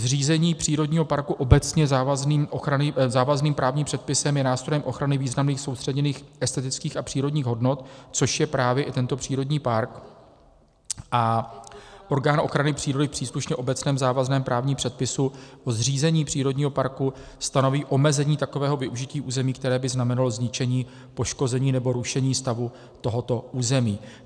Zřízení přírodního parku obecně závazným právním předpisem je nástrojem ochrany významných soustředěných estetických a přírodních hodnot, což je právě i tento přírodní park, a orgán ochrany přírody v příslušném obecně závazném právním předpisu o zřízení přírodního parku stanoví omezení takového využití území, které by znamenalo zničení, poškození nebo rušení stavu tohoto území.